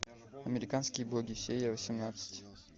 американские боги серия восемнадцать